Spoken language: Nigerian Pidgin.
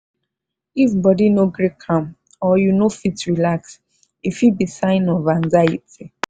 if body no gree calm or you no fit relax e fit be sign of anxiety.